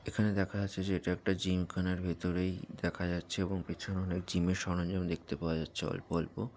এখানে দেখা যাচ্ছে যে এটা একটা জিম খানার ভেতরেই দেখা যাচ্ছে এবং পিছনে অনেক জিম এর সরঞ্জাম দেখতে পাওয়া যাচ্ছে অল্প অল্প।